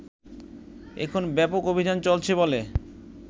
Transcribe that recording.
এখন ব্যাপক অভিযান চলছে বলে